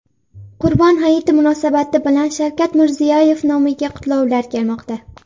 Qurbon hayiti munosabati bilan Shavkat Mirziyoyev nomiga qutlovlar kelmoqda.